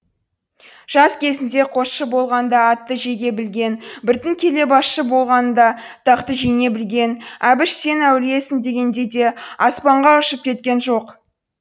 жас кезінде қосшы болғанда атты жеге білген біртін келе басшы болғанында тақты жеңе білген әбіш сен әулиесің дегенде де аспанға ұшып кеткен жоқ